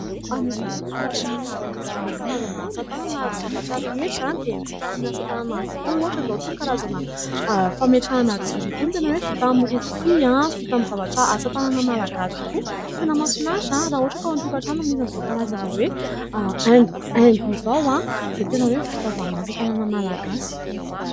Anisany hoe mampalaza antsika eto Madagasikara ny karazana asa tanana. Ary ny zavatra rehetra dia haintsika amin'ny asa tanana avokoa, ohatra izao : itony karazana fametrahana jiro itony, tena hoe vita amin'ny rofia, vita amin'ny zavatra asa tanana malagasy tokoa. Tena mahafinaritra raha ohatra ka ao an- tokatrano no misy an'izao karazana hoe haingo izao, izay tena hoe vita avy amin'ny asa tanana malagasy.